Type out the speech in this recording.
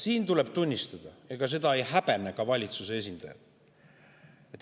Siin tuleb tunnistada, et ega seda ei häbene ka valitsuse esindajad.